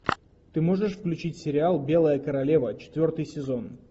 ты можешь включить сериал белая королева четвертый сезон